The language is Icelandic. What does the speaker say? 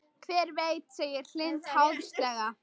Hver veit segir Hind háðslega.